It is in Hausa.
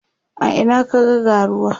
a Ina ka ga ga ruwa?